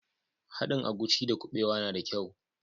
Haɗin agushi da kubewa na da kyau.